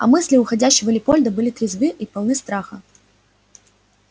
а мысли уходящего лепольда были трезвы и полны страха